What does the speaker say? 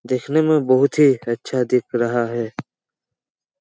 देखने में बहुत ही अच्छा दिख रहा है।